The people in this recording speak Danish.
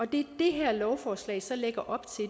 det her lovforslag så lægger op til